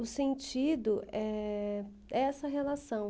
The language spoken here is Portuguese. O sentido é essa relação.